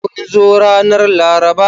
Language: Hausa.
Kun zo ranar Laraba?